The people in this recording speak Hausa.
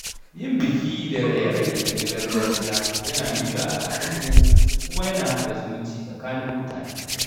Yin biki da raye-raye na gargajiya yana nuna al’adunmu kuma yana haɗa zumunci tsakanin mutane.